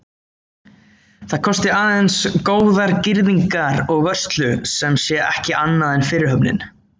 Það kosti aðeins góðar girðingar og vörslu, sem sé ekki annað en fyrirhöfn.